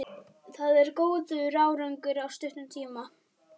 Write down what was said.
Það er góður árangur á stuttum tíma.